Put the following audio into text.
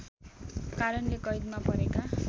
कारणले कैदमा परेका